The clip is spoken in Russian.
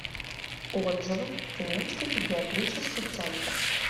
отзывы тюменский педиатрический центр